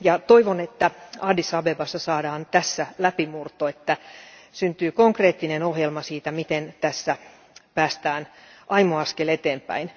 Toivon, että Addis Abebassa saadaan tässä läpimurto ja että syntyy konkreettinen ohjelma siitä, miten tässä päästään aimo askel eteenpäin.